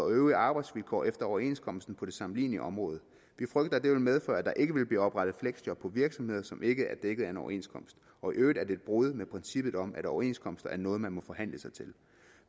øvrige arbejdsvilkår er overenskomsten på det sammenlignelige område vi frygter at det vil medføre at der ikke vil blive oprettet fleksjob på virksomheder som ikke er dækket af en overenskomst og i øvrigt er det et brud med princippet om at overenskomster er noget man må forhandle sig til